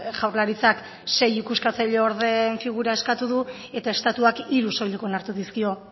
jaurlaritzak sei ikuskatzaile ordeen figura eskatu du eta estatuak hiru soilik onartu dizkio